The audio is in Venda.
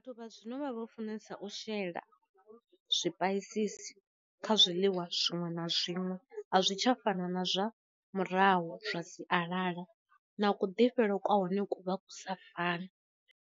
Vhathu vha zwino vha vho funesa u shela zwi paisisi kha zwiḽiwa zwiṅwe na zwiṅwe a zwi tsha fana na zwa murahu zwa sialala, na u ku ḓifhele kwa hone ku vha ku sa fani.